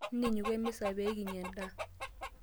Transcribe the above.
Ntinyiku emisa pee kinya endaa.